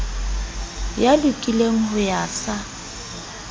ya lokileng ho ya sa